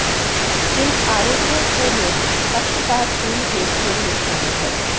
इन आरोपों को में पक्षपातपूर्ण हेरफेर में शामिल है